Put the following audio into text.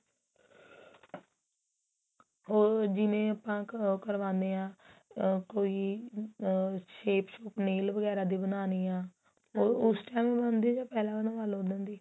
ਹੋਰ ਜਿਵੇਂ ਆਪਾਂ ਉਹ ਕਰਵਾਨੇ ਆ ਆ ਕੋਈ ਆ shape ship nail ਵਗੈਰਾ ਦੀ ਬਣਾਨੀ ਏ ਉਹ ਉਸ time ਬਣਦੀ ਜਾਂ ਪਹਿਲਾਂ ਬਣਵਾ ਲੋ ਉਸ ਦਿਨ ਦੀ